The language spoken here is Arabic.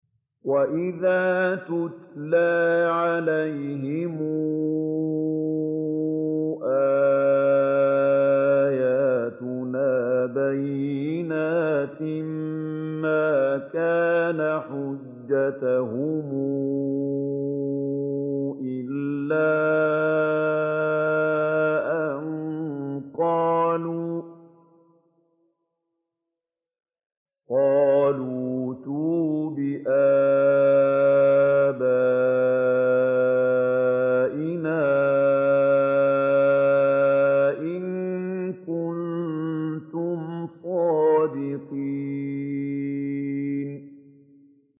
وَإِذَا تُتْلَىٰ عَلَيْهِمْ آيَاتُنَا بَيِّنَاتٍ مَّا كَانَ حُجَّتَهُمْ إِلَّا أَن قَالُوا ائْتُوا بِآبَائِنَا إِن كُنتُمْ صَادِقِينَ